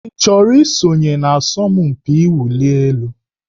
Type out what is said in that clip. Ị chọrọ isonye n'asọmpi mwụli elu?